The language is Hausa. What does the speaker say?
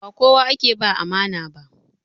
Ba kowa ake ba amana ba.